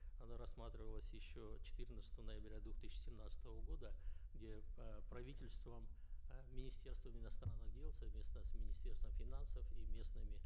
она рассматривалась еще четырнадцатого ноября две тысячи семнадцатого года где э правительством э министерством иностранных дел совместно с министерством финансов и местными